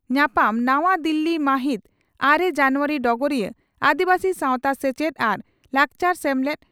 ᱧᱟᱯᱟᱢ ᱱᱟᱣᱟ ᱫᱤᱞᱞᱤ ᱢᱟᱦᱤᱛ ᱟᱨᱮ ᱡᱟᱱᱩᱣᱟᱨᱤ (ᱰᱚᱜᱚᱨᱤᱭᱟᱹ) ᱺ ᱟᱹᱫᱤᱵᱟᱹᱥᱤ ᱥᱟᱣᱛᱟ ᱥᱮᱪᱮᱫ ᱟᱨ ᱞᱟᱠᱪᱟᱨ ᱥᱮᱢᱞᱮᱫ